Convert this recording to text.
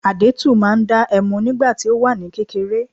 Adẹ́tù máa ń dá ẹmu nígbà tí ó wà ní kékeré